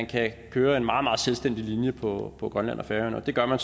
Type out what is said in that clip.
kan køre en meget meget selvstændig linje på på grønland og færøerne og det gør